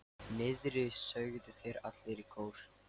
Niðri, sögðu þeir allir í kór.